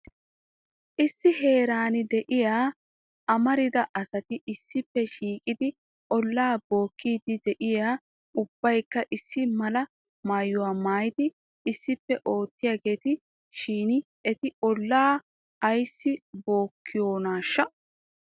issi heeran de'iyaa amarida asati issipe shiiqidi olaa bookidi de'iyaa ubbaykka issi mala maayyuwaa maayyidi issippe oottiyaageeta shin eti olaa ayssi bookiyoonashsha!